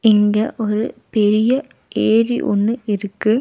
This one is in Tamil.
இங்க ஒரு பெரிய ஏரி ஒன்னு இருக்கு.